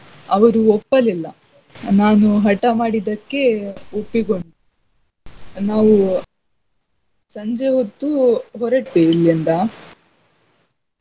ಅವರು ಒಪ್ಪಲಿಲ್ಲಾ ನಾನು ಹಠ ಮಾಡಿದಕ್ಕೆ ಒಪ್ಪಿಕೊಂಡ್ರು. ನಾವು ಸಂಜೆ ಹೊತ್ತು ಹೊರಟ್ವಿ ಇಲ್ಲಿಂದಾ.